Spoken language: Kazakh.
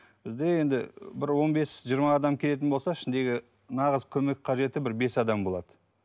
бізде енді бір он бес жиырма адам келетін болса ішіндегі нағыз көмек қажеті бір бес адам болады